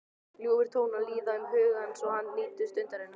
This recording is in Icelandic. Ljúfir tónar líða um huga hans og hann nýtur stundarinnar.